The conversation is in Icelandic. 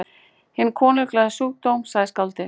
Hinn konunglega sjúkdóm, sagði skáldið.